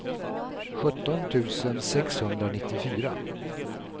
sjutton tusen sexhundranittiofyra